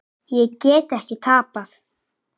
Ég get ekki tapað.